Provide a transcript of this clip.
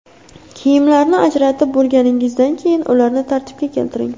Kiyimlarni ajratib bo‘lganingizdan keyin, ularni tartibga keltiring.